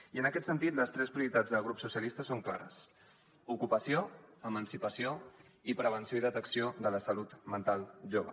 i en aquest sentit les tres prioritats del grup socialistes són clares ocupació emancipació i prevenció i detecció de la salut mental jove